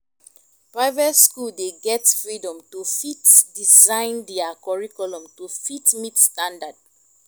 private school dey get freedom to fit design their curriculum to fit meet standard